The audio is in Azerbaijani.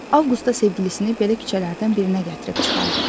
Avqust da sevgilisini belə küçələrdən birinə gətirib çıxardı.